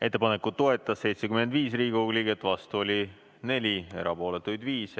Ettepanekut toetas 75 Riigikogu liiget, vastu oli 4, erapooletuid 5.